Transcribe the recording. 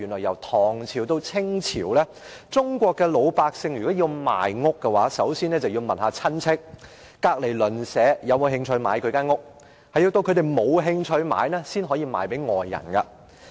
由唐朝到清朝，中國老百姓如果要賣屋，首先要問親戚或鄰居是否有興趣購買，如果他們都沒有興趣，才能賣給外人。